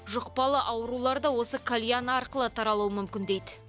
жұқпалы аурулар да осы кальян арқылы таралуы мүмкін дейді